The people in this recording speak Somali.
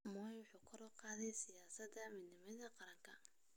Moi wuxuu kor u qaaday siyaasadaha midnimada qaranka.